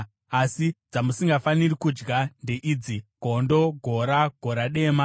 Asi dzamusingafaniri kudya ndeidzi: gondo, gora, gora dema,